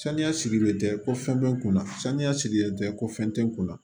Saniya sigilen tɛ ko fɛn bɛ n kun na saniya sigilen tɛ ko fɛn tɛ n kunna